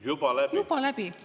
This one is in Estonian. Juba läbi!